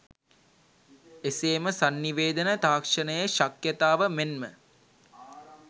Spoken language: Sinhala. එසේ ම සන්නිවේදන තාක්‍ෂණයේ ශක්‍යතාව මෙන්ම